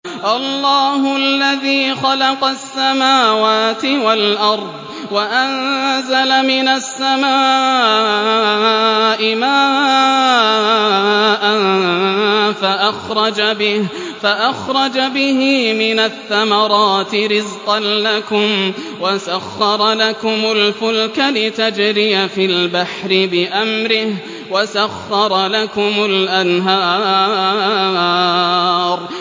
اللَّهُ الَّذِي خَلَقَ السَّمَاوَاتِ وَالْأَرْضَ وَأَنزَلَ مِنَ السَّمَاءِ مَاءً فَأَخْرَجَ بِهِ مِنَ الثَّمَرَاتِ رِزْقًا لَّكُمْ ۖ وَسَخَّرَ لَكُمُ الْفُلْكَ لِتَجْرِيَ فِي الْبَحْرِ بِأَمْرِهِ ۖ وَسَخَّرَ لَكُمُ الْأَنْهَارَ